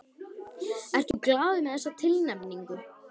Ertu glaður með þessa tilnefningu?